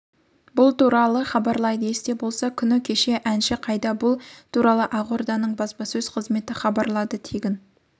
бұл туралы хабарлайды есте болса күні кеше әнші қайда бұл туралы ақорданың баспасөз қызметі хабарлады тегін